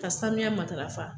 Ka sanuya matarafa